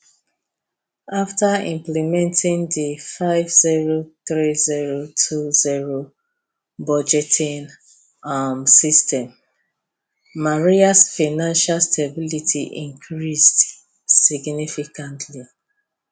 afta implementing di five zero three zero two zero budgeting um system marias financial stability increased significantly